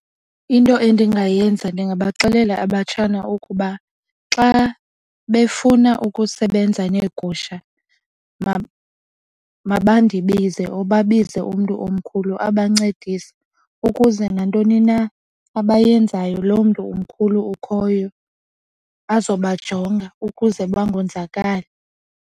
Into endingayenza ndingabaxelela abatshana ukuba xa befuna ukusebenza neegusha maba ndibize or babize umntu omkhulu abancedise ukuze nantoni na abayenzayo loo mntu umkhulu ukhoyo azoba jonga ukuze bangonzakali.